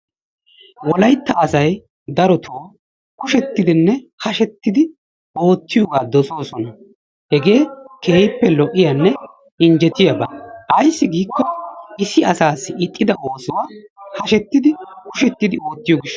Wolaytta asay daroto kushettidinne hashettidi oottiyoogaa dossoosona. Hegee keehippe lo'iyaanne injetiyaaba. Ayissi giikko issi asaassi ixxida oosuwaa hashettidi kushettidi oottiyo gishshawu.